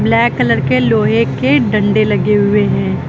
Black colour के लोहे के डंडे लगे हुए हैं।